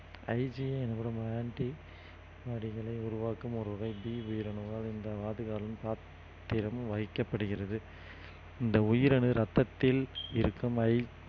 IGI எனப்படும் anti உருவாக்கும் ஒரு வைக்கப்படுகிறது இந்த உயிரணு ரத்தத்தில் இருக்கும்